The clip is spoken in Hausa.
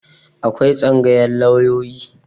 Akwai Tsangayar lauyoyi.